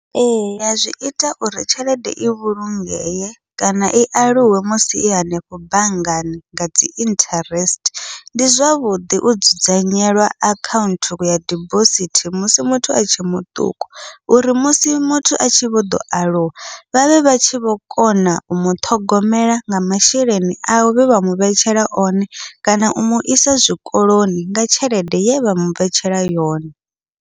Eya zwi ita uri tshelede i vhulungee kana i aluwe musi i hanefho banngani ngadzi interest, ndi zwavhuḓi u dzudzanyelwa akhaunthu ya dibosithi musi muthu atshe muṱuku. Uri musi muthu a tshi vho ḓo aluwa vhavhe vha tshi vho kona u muṱhogomela nga masheleni awe vhevha muvhetshela one, kana u muisa zwikoloni nga tshelede yevha muvhetshela yone.